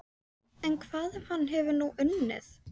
En hvað ef hann hefur nú unnið?